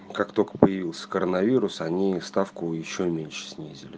как только появился коронавируса они ставку ещё меньше снизили